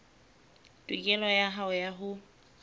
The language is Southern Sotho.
tokelo ya hao ya ho